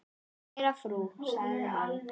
Kæra frú, sagði hann.